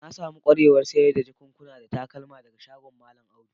Na samu kwarewan sayar da jakuna da takalma daga shagon mallam Audu.